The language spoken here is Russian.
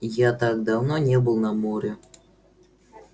я так давно не был на море